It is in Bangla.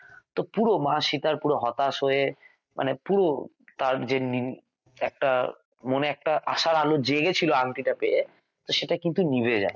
তো পুরো মা সীতা পুরো হতাশ হয়ে মানে পুরো তার যে উম একটা মনে একটা আশার আলো জেগেছিল আংটিটা পেয়ে সেটা কিন্তু নিভে যায়